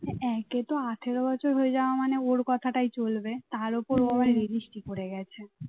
একে তো আঠার বছর হয়ে যাওয়া মানে ওর কথাটাই চলবে তার ওপর আবার registry করে গেছে